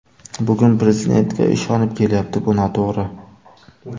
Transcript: Bugun Prezidentga ishonib kelyapti, bu noto‘g‘ri.